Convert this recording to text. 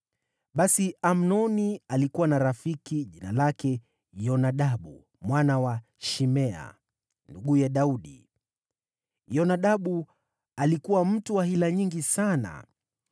Basi Amnoni alikuwa na rafiki jina lake Yonadabu mwana wa Shimea, nduguye Daudi. Yonadabu alikuwa mtu wa hila nyingi sana.